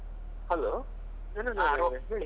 Hello Janardhan ಅವ್ರೆ ಹೇಳಿ.